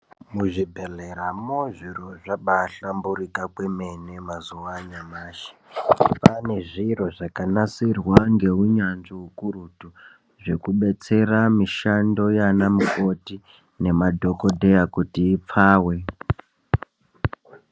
Muzvibhedhleramo zviro zvabahlamburika kwemene mazuwa anyamashi kwaane zviro zvakanasirwa ngeunyanzvi ukurutu zvekubetsera mishando yaanamukoti nemadhokodheya kuti ipfave.